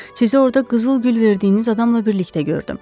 Sizi orda qızıl gül verdiyiniz adamla birlikdə gördüm.